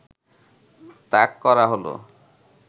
তাক করা হলো